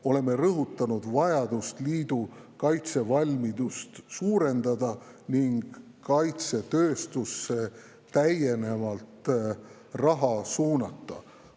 Oleme rõhutanud vajadust liidu kaitsevalmidust suurendada ning kaitsetööstusesse täiendavat raha suunata.